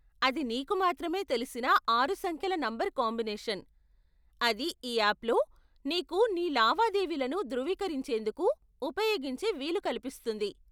అది నీకు మాత్రమే తెలిసిన ఆరు సంఖ్యల నంబర్ కాంబినేషన్, అది ఈ ఆప్లో నీకు నీ లావాదేవీలను ధృవీకరించేందుకు ఉపయోగించే వీలు కల్పిస్తుంది.